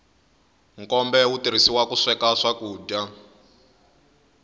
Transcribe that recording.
nkombe wu tirhisiwa ku sweka swakudya